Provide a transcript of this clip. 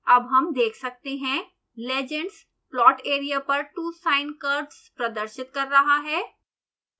अब हम देख सकते हैं legends plot area पर two sine curves प्रदर्शित कर रहा है